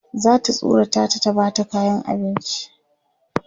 zata tsorata ta ta Bata kayan abinci